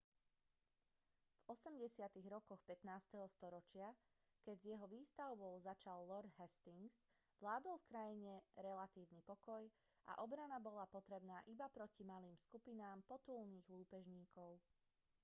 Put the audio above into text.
v 80. rokoch 15. storočia keď s jeho výstavbou začal lord hastings vládol v krajine relatívny pokoj a obrana bola potrebná iba proti malým skupinám potulných lúpežníkov